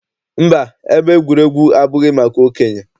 Mba, ebe egwuregwu abụghị maka okenye.